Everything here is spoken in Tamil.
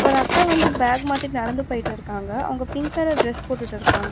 ஒரு அக்கா வந்து பேக் மாட்டிட் நடந்து போயிட்டுருக்காங்க. அவங்க பிங்க் கலர் டிரஸ் போட்டுட்டிருக்காங்க.